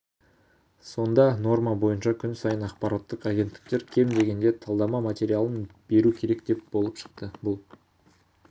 сонда норма бойынша күн сайын ақпараттық агенттіктер кем дегенде талдама материалын беру керек болып шықты бұл